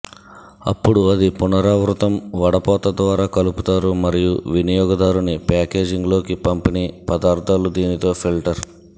అప్పుడు అది పునరావృతం వడపోత ద్వారా కలుపుతారు మరియు వినియోగదారుని ప్యాకేజింగ్ లోకి పంపిణీ పదార్థాలు దీనితో ఫిల్టర్